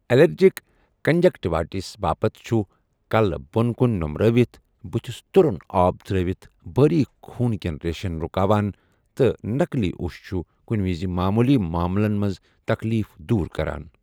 Allergic conjunctivitis باپتھ چھُ کَلہٕ بۄن کُن نومرٲوِتھ بٔتھِس تُرُن آب ترٲوِتھ بٲریك خوُن كین ریشن رٗكاوان ، تہٕ نَقلی اوٚش چھُ کُنہِ وِزِ معموٗلی معاملَن منٛز تکلیف دوٗر کران۔